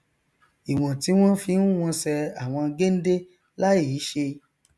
ìwọn tí wọn fi n wọnsẹ àwọn géndé láìí ṣe